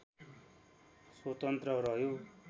स्वतन्त्र रह्यो